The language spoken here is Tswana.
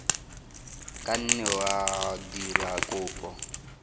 ka nne wa dira kopo